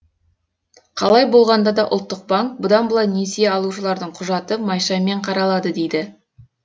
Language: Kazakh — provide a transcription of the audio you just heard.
қалай болғанда да ұлттық банк бұдан былай несие алушылардың құжаты майшаммен қаралады дейді